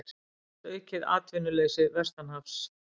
Óttast aukið atvinnuleysi vestanhafs